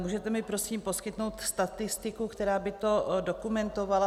Můžete mi prosím poskytnout statistiku, která by to dokumentovala?